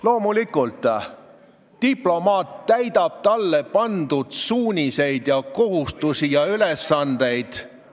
Loomulikult, diplomaat täidab talle pandud kohustusi ja ülesandeid, ta lähtub etteantud suunistest.